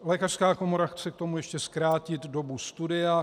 Lékařská komora chce k tomu ještě zkrátit dobu studia.